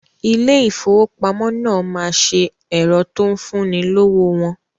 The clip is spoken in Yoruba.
Ilé ìfowópamọ́ náà ma ṣe ẹ̀rọ tó ń fún ni lówó wọn